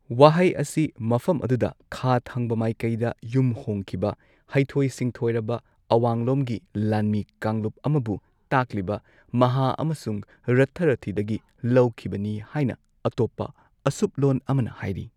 ꯋꯥꯍꯩ ꯑꯁꯤ ꯃꯐꯝ ꯑꯗꯨꯗ ꯈꯥ ꯊꯪꯕ ꯃꯥꯏꯀꯩꯗ ꯌꯨꯝꯍꯣꯡꯈꯤꯕ ꯍꯩꯊꯣꯏ ꯁꯤꯡꯊꯣꯏꯔꯕ ꯑꯋꯥꯡꯂꯣꯝꯒꯤ ꯂꯥꯟꯃꯤ ꯀꯥꯡꯂꯨꯞ ꯑꯃꯕꯨ ꯇꯥꯛꯂꯤꯕ ꯃꯍꯥ ꯑꯃꯁꯨꯡ ꯔꯥꯊꯥ ꯔꯥꯊꯤꯗꯒꯤ ꯂꯧꯈꯤꯕꯅꯤ ꯍꯥꯏꯅ ꯑꯇꯣꯞꯄ ꯑꯁꯨꯞꯂꯣꯟ ꯑꯃꯅ ꯍꯥꯏꯔꯤ꯫